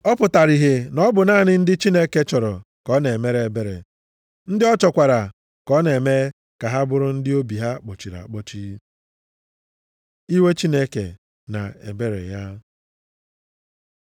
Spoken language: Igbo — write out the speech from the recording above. Ọ pụtara ihe na ọ bụ naanị ndị Chineke chọrọ ka ọ na-emere ebere, ndị ọ chọkwara ka ọ na-eme ka ha bụrụ ndị obi ha kpọchiri akpọchi. Iwe Chineke na ebere ya